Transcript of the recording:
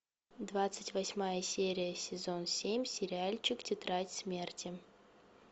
двадцать восьмая серия сезон семь сериальчик тетрадь смерти